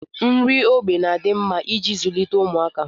Nri ógbè na-adị mma iji zụlite ụmụaka